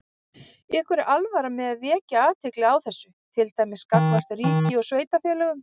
Ykkur er alvara með að vekja athygli á þessu, til dæmis gagnvart ríki og sveitarfélögum?